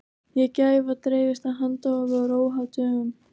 gæfa dreifist af handahófi og er óháð dögum